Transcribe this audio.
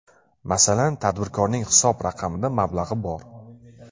Masalan, tadbirkorning hisob raqamida mablag‘i bor.